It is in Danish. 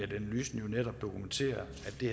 analysen jo netop dokumenterer